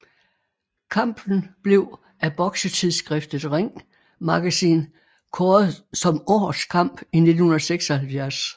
Kampen blev af boksetidsskriftet Ring Magazine kåret som årets kamp i 1976